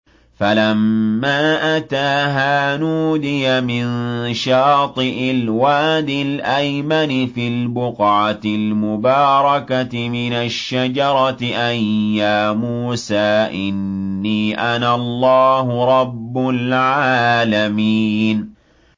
فَلَمَّا أَتَاهَا نُودِيَ مِن شَاطِئِ الْوَادِ الْأَيْمَنِ فِي الْبُقْعَةِ الْمُبَارَكَةِ مِنَ الشَّجَرَةِ أَن يَا مُوسَىٰ إِنِّي أَنَا اللَّهُ رَبُّ الْعَالَمِينَ